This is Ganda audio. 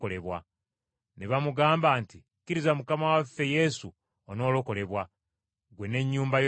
Ne bamugamba nti, “Kkiriza Mukama waffe Yesu onoolokolebwa, ggwe n’ennyumba yo yonna.”